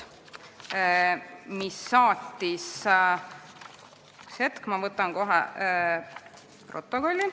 Üks hetk, ma võtan kohe protokolli.